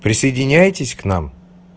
присоединяйтесь к нам